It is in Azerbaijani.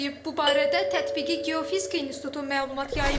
Bu barədə tətbiqi geofizika institutu məlumat yayıb.